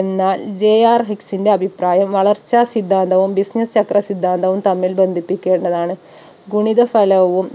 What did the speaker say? എന്നാൽ JR ഹിക്‌സിന്റെ അഭിപ്രായം വളർച്ച സിദ്ധാന്തവും business ചക്ര സിദ്ധാന്തവും തമ്മിൽ ബന്ധിപ്പിക്കേണ്ടതാണ്. ഗുണിത ഫലവും